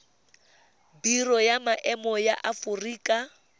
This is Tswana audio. biro ya maemo ya aforika